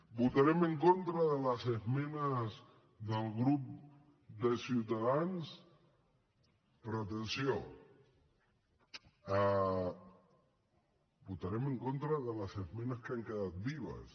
votarem en contra de les esmenes del grup de ciutadans però atenció votarem en contra de les esmenes que han quedat vives